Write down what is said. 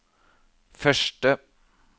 første